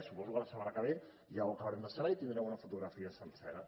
suposo que la setmana que va ja ho acabarem de saber i tindrem una fotografia sencera